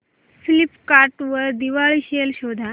Flipkart वर Diwali sale शोधा